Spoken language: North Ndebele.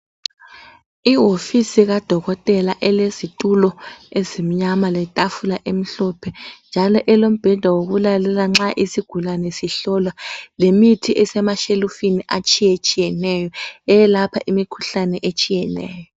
Ihofisi kadokotela elezitulo ezimnyama letafula emhlophe njalo elombheda wokulalela nxa isigulane sihlolwa lemithi esemashelufini etshiyetshiyeneyo eyelapha imikhuhlane etshiyeneyo.